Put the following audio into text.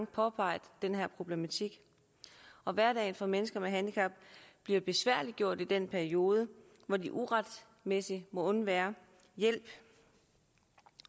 påpeget den her problematik og at hverdagen for mennesker med handicap bliver besværliggjort i den periode hvor de uretmæssigt må undvære hjælp